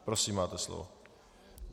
Prosím, máte slovo.